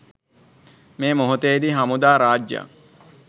මේ මොහොතේදී හමුදා රාජ්‍යයක්